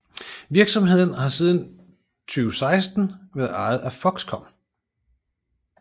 Virksomheden har siden 2016 været ejet af Foxconn